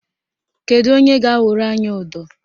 Kedu onye ga-awụrụ anyị ụdọ?